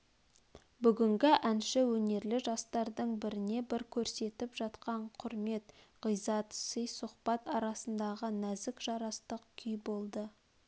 бүгінгі әнші өнерлі жастардың бірне бір көрсетп жатқан құрмет ғиззат сый-сұхбат арасындағы нәзік жарастық күй болды